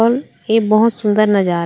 अउ ए बहोत सूंदर नज़ारा हे।